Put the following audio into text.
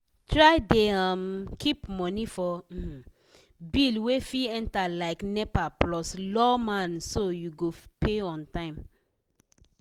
try dey um keep money for um bill wey fit enter like nepa plus lawma so you go pay on time